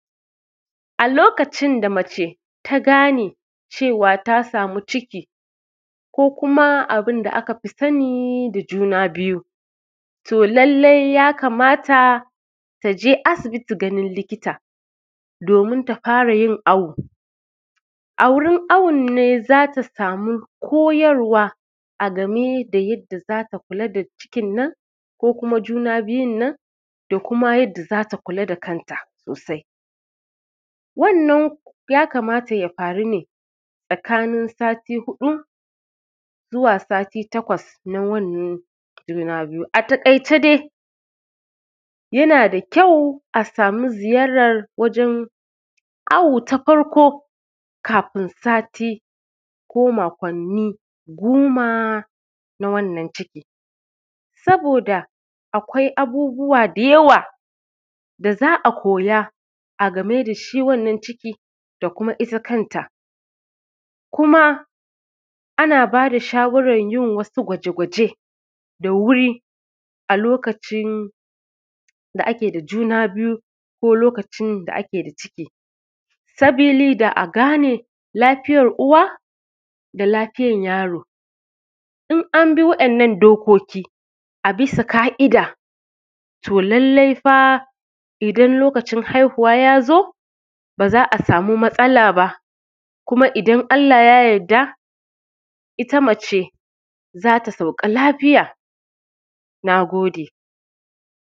A lokacin da mace ta gane cewa ta samu ciki ko kuma abin da aka fi sanin da juna biyu, to lallai ya kamata ta je asibiti ganin likita domin ta fara yin awo. A wurin awon ne za ta samu koyarwa a game da yadda za ta kula da cikin nan ko kuma juna biyun nan da kuma yadda za ta kula da kanta sosai, wannan ya kamata ya faru ne tsakanin sati huɗu zuwa sati takwas na wannan juna biyu. A taƙaice dai yana da kyau a samu ziyarar wajen awo ta farko kafin sati ko makwanni goma na wannan ciki, saboda akwai abubuwa da yawa da za a koya a game da shi wannan ciki da kuma ita kanta kuma ana ba da shawaran yin wasu gwaje-gwaje da wuri a lokacin da kake da juna biyu ko lokacin da ake da ciki sabida a gane lafiyan uwa da lafiyan yaro. In an bi wayannan dokoki a bisa ƙa’ida to lallai fa idan lokacin haihuwa ya zo ba za a samu matsala ba kuma idan Allah ya yadda ita mace za ta sauka lafiya. Na gode.